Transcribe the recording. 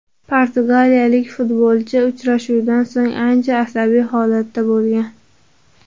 Portugaliyalik futbolchi uchrashuvdan so‘ng ancha asabiy holatda bo‘lgan.